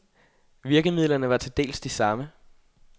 Virkemidlerne var til dels de samme.